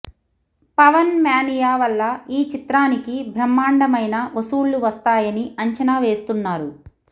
Pawan mania వల్ల ఈ చిత్రానికి బ్రహ్మాండమైన వసూళ్లు వస్తాయని అంచనా వేస్తున్నారు